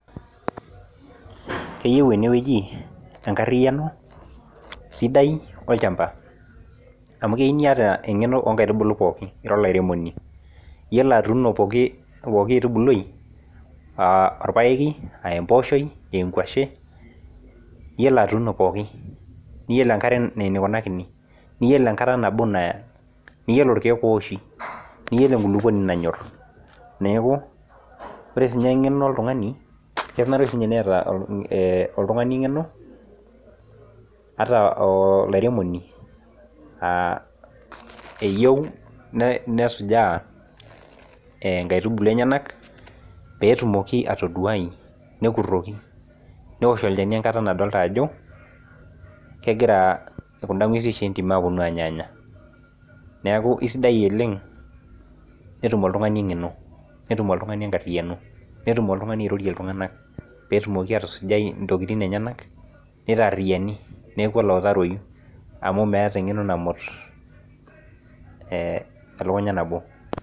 Keyeu ene wueji enkarriaano, sidai olchamba amuu keyiu niata eng'eno oonkaitubul pookin ira olairemoni iyolo atuuno pooki aitubului aa orpaeki aa empooshoi aa enkuashei iyolo atuuno pooki niyolo enkare ineikunakini niyolo naa enkata nabo naa niyolo irkiet ooshi niyolo enkulukuoni nanyorr neeku ore siinye eng'eno oltung'ani kenare sinye neeta oltung'ani eng'eno ata olairemoni eyeu nesujaa inkaitubulu enyana pee etumoki ataduai nekurroki neosh olchani nadolita ajo kegira kunda ng'wesin entim aoponu aanyaanya neeku esidai oleng; netum oltung'ani engeno netum oltung'ani enkarriano neirorie oltung'ani iltung'anak peetumoki atusujai intokini enyana neitarriani neeku olautaroyu amuu meeta eng'eno namut, ee elukunya nabo.